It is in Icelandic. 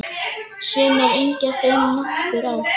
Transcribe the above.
Sumir yngjast um nokkur ár.